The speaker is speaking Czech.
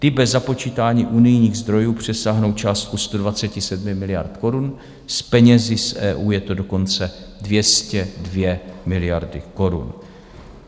I bez započítání unijních zdrojů přesáhnou částku 127 miliard korun, s penězi z EU je to dokonce 202 miliardy korun.